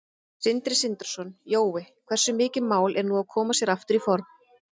Sindri Sindrason: Jói, hversu mikið mál er nú að koma sér aftur í form?